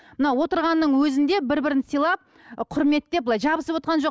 мына отырғанның өзінде бір бірін сыйлап құрметтеп былай жабысып отырған жоқ